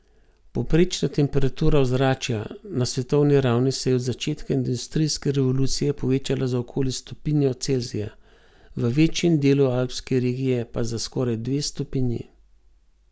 Povprečna temperatura ozračja na svetovni ravni se je od začetka industrijske revolucije povečala za okoli stopinjo Celzija, v večjem delu alpske regije pa za skoraj dve stopinji.